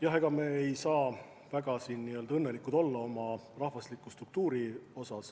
Jah, ega me ei saa väga rahul olla oma rahvastiku struktuuriga.